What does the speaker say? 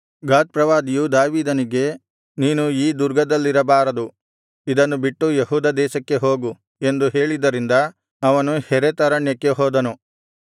ಗಾದ್ ಪ್ರವಾದಿಯು ದಾವೀದನಿಗೆ ನೀನು ಈ ದುರ್ಗದಲ್ಲಿರಬಾರದು ಇದನ್ನು ಬಿಟ್ಟು ಯೆಹೂದ ದೇಶಕ್ಕೆ ಹೋಗು ಎಂದು ಹೇಳಿದ್ದರಿಂದ ಅವನು ಹೆರೆತ್ ಅರಣ್ಯಕ್ಕೆ ಹೋದನು